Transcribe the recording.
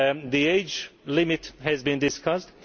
The age limit has been discussed.